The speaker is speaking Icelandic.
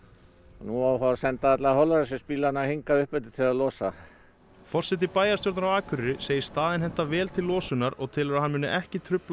nú á að fara að senda alla hingað upp eftir til þess að losa forseti bæjarstjórnar á Akureyri segir staðinn henta vel til losunar og telur að hann muni ekki trufla